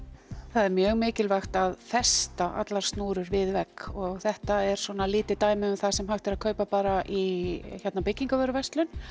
það er mjög mikilvægt að festa allar snúrur við vegg og þetta er svona lítið dæmi um það sem hægt er að kaupa bara í byggingavöruverslun